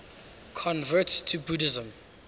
converts to buddhism